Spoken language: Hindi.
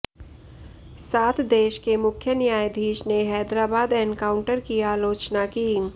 साथ देश के मुख्य न्यायाधीश ने हैदराबाद एनकाउंटर की आलोचना की